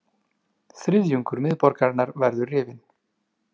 Þriðjungur miðborgarinnar verður rifinn